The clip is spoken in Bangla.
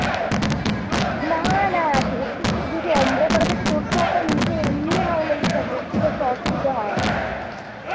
না না ,তোর চুল যদি ombre করা থাকে তোর তো ওটা নিচে এমনি highlight থাকবে খুব একটা অসুবিধা হয় না